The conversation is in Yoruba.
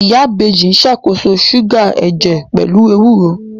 Ìyá Ìbejì ṣàkóso ṣúgà ẹ̀jẹ̀ pẹ̀lú ewúro